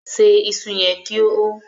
ṣe iṣu yen kò hó!